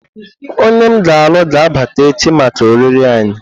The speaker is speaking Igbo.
Onye m ga-alụ ga-abata echi maka oriri anyị.